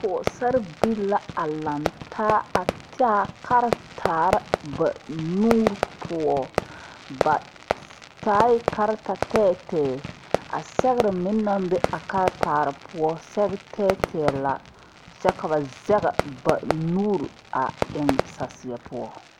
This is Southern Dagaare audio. Pɔgesare bilee la laŋtaa a taa karitaare ba nuuri poɔ ba taɛ karitatɛtɛ a sɛgre meŋ naŋ be a karitaa poɔ sɛge tɛɛtɛɛ la kyɛ ka ba zɛge ba nuuri a eŋ saseɛ poɔ.